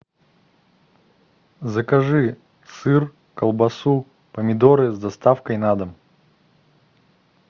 закажи сыр колбасу помидоры с доставкой на дом